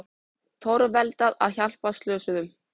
Torveldað að hjálpa slösuðum